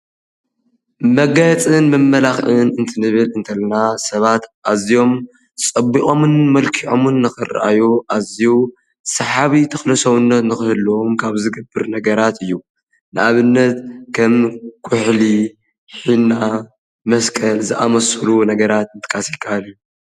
መጋየፅን መመላክዕን እንትንብል እንተለና ሰባት ኣዝዮም ፀቢቖምን መልኪዖምን ንኽርአዩ ኣዝዩ ሰሓቢ ተኽለ ሰብነት ንኽህልዎም ካብ ዝገብር ነገራት እዩ፡፡ ንኣብነት ከም ኩሕሊ፣ ሒና፣ መስቀል ዝኣምሰሉ ነገራት ምጥቃስ ይከኣል እዩ፡፡